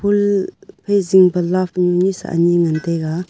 phai zingpa love nunisa ani ngan taiga.